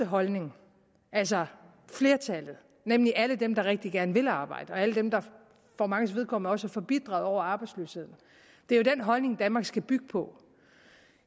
holdning altså flertallet nemlig alle dem der rigtig gerne vil arbejde og alle dem der for manges vedkommende også er forbitrede over arbejdsløsheden er jo den holdning danmark skal bygge på